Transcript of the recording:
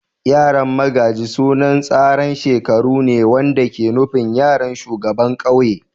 Yaran magaji sunan tsaran shekaru ne wanda ke nufin yaran shugaban kauye.